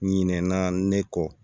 Ɲinɛ na ne kɔ